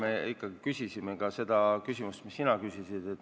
Me ikkagi küsisime ka sedasama, mida sina praegu küsisid.